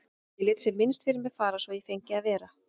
Ég lét sem minnst fyrir mér fara svo að ég fengi að vera.